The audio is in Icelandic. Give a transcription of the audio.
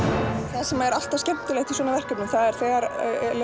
það sem er alltaf skemmtilegt í svona verkefni er þegar